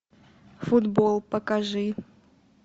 футбол покажи